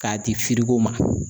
K'a di ko ma.